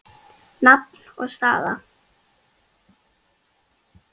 Nafn og staða?